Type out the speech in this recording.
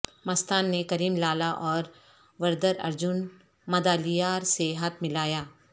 مستان نے کریم لالہ اور وردراجن مدالیار سے ہاتھ ملایا